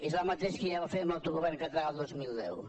és el mateix que ja va fer amb l’autogovern català el dos mil deu